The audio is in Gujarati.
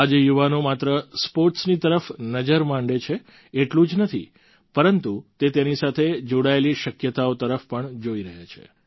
આજે યુવાનો માત્ર સ્પોર્ટ્સની તરફ નજર માંડે છે એટલું જ નથી પરંતુ તે તેની સાથે જોડાયેલી શક્યતાઓ તરફ પણ જોઈ રહ્યા છે